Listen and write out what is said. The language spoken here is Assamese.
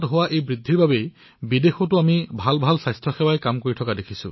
হঠাতে বৃদ্ধি পোৱা বাবে বিদেশত স্বাস্থ্য খণ্ডই বহু সমস্যাৰ সন্মুখীন হবলগীয়া হৈছে